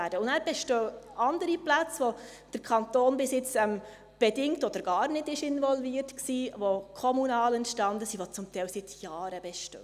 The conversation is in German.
Dann bestehen auch noch andere Plätze, bei denen der Kanton bisher bedingt oder gar nicht involviert war, die kommunal entstanden sind und die zum Teil seit Jahren bestehen.